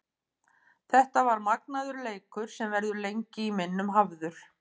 Þetta var magnaður leikur sem verður lengi í minnum hafður.